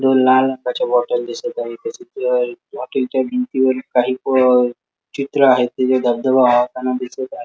दोन लाल रंगाच्या बॉटल दिसत आहे त्याच्यात अ रॉकेल च्या भिंतीवरील काही अ चित्र आहे तिथे धबधबा वाहताना दिसत आहे.